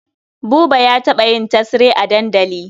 Buba ya taɓa yin tesre a dandali.